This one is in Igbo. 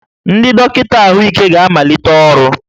Ndị dọkịta ahụike ga-amalite ọrụ